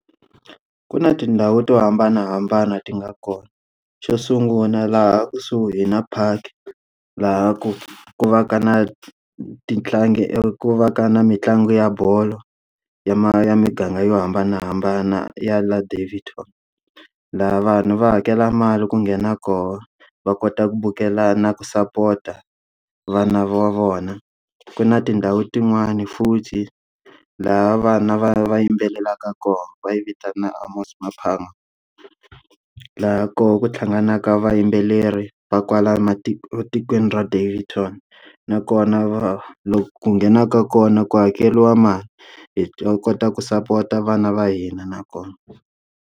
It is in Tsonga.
Ku na tindhawu to hambanahambana ti nga kona. Xo sungula laha kusuhi na park, laha ku ku va ka na ti tlangi ku va ka na mitlangu ya bolo ya ya muganga yo hambanahambana ya laha Daveyton. Laha vanhu va hakela mali ku nghena kona, va kota ku vukela na ku sapota vana va vona. Ku na tindhawu tin'wani futhi laha vana va va yimbelelaka kona va yi vitana Amos Maphanga. Laha koho ku hlanganaka vayimbeleri va kwala matikweni etikweni ra Daveyton. Nakona va ku nghenaka kona ku hakeriwa mali hi ta kota ku sapota vana va hina na kona.